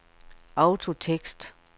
autotekst